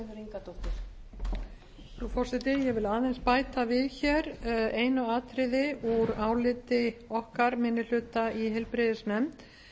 frú forseti ég vil aðeins bæta við hér einu atriði úr áliti okkar minni hluta í heilbrigðisnefnd